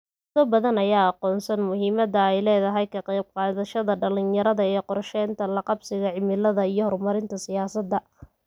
Dawlado badan ayaa aqoonsan muhiimada ay leedahay ka qaybqaadashada dhalinyarada ee qorshaynta la qabsiga cimilada iyo horumarinta siyaasada.